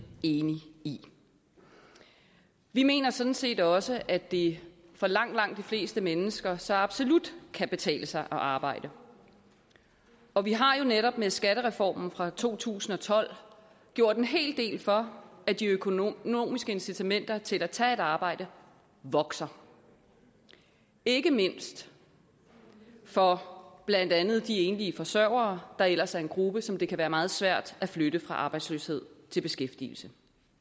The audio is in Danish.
enige i vi mener sådan set også at det for langt langt de fleste mennesker så absolut kan betale sig at arbejde og vi har jo netop med skattereformen fra to tusind og tolv gjort en hel del for at de økonomiske incitamenter til at tage et arbejde vokser ikke mindst for blandt andet de enlige forsørgere der ellers er en gruppe som det kan være meget svært at flytte fra arbejdsløshed til beskæftigelse